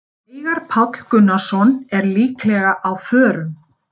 Veigar Páll Gunnarsson er líklega á förum.